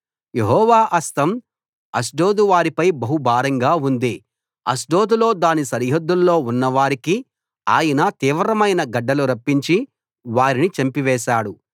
యెహోవా హస్తం అష్డోదు వారిపై బహు భారంగా ఉంది అష్డోదులో దాని సరిహద్దుల్లో ఉన్నవారికి ఆయన తీవ్రమైన గడ్డలు రప్పించి వారిని చంపివేశాడు